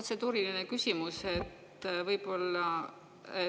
Protseduuriline küsimus võib-olla.